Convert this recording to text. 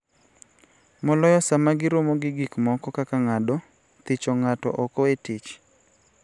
moloyo sama giromo gi gik moko kaka ng�ado thicho ng'ato oko e tich.